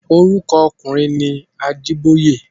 Orúkọ ọkùnrin ni Ajíbóyè.